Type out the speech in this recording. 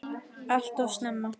Allt of snemma.